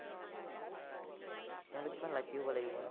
সিহঁতে কিমান lucky হব লাগিব।